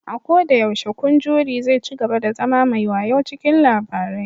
A koda yaushe, kun jury zai cigaba da zama mai wayau cikin labarai